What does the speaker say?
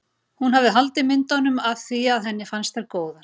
Hún hafði haldið myndunum af því að henni fannst þær góðar.